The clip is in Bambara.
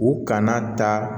U kana ta